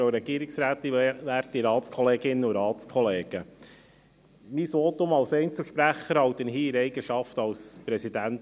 Mein Votum als Einzelsprecher halte ich hier in der Eigenschaft als VBG-Präsident.